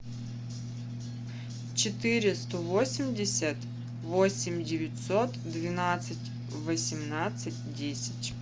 четыреста восемьдесят восемь девятьсот двенадцать восемнадцать десять